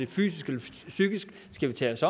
fysisk eller psykisk skal vi tage os